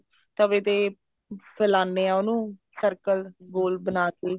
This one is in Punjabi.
ਤਵੇ ਤੇ ਫੇਲਾਉਣੇ ਆ ਉਹਨੂੰ circle ਗੋਲ ਬਣਾਕੇ